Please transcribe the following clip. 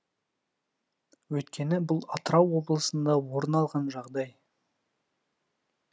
өйткені бұл атырау облысында орын алған жағдай